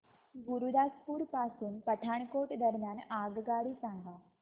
गुरुदासपुर पासून पठाणकोट दरम्यान आगगाडी सांगा